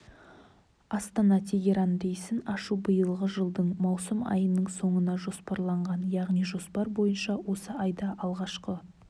астана тегеран рейсін ашу биылғы жылдың маусым айының соңына жоспарланған яғни жоспар бойынша осы айда алғашқы